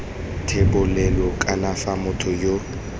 thebolelo kana fa motho yo